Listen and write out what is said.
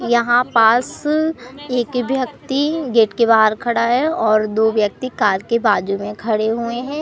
यहां पास एक व्यक्ति गेट के बाहर खड़ा है और दो व्यक्ति कार के बाजू में खड़े हुए हैं।